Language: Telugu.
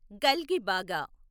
గల్గిబాగా